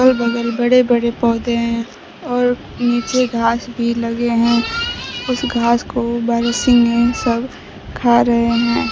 अगल बगल बड़े बड़े पौधे हैं और नीचे घास भी लगे हैं उस घास को बारहसिंगे सब खा रहे है।